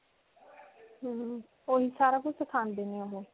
ਹਮਮ ਓਹੀ ਸਾਰਾ ਕੁਝ ਸਿਖਾਉਂਦੇ ਨੇ ਓਹ.